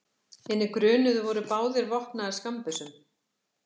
Hinir grunuðu voru báðir vopnaðir skammbyssum